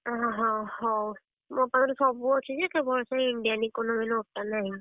ହଁ ହଁହଉ ମୋ ପାଖରେ ସବୁ ଅଛି ଯେ କେବଳ ସେଇ Indian Economic note ଟା ନାହିଁ।